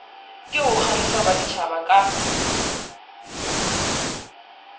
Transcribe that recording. ke ho kgahlisa baditjhaba ka